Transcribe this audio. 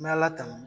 N bɛ ala tanu